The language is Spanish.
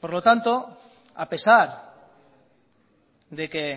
por lo tanto a pesar de que